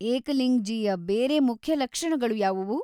ಏಕಲಿಂಗ್‌ಜೀಯ ಬೇರೆ ಮುಖ್ಯ ಲಕ್ಷಣಗಳು ಯಾವವು?